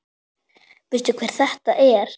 Veistu hver þetta er?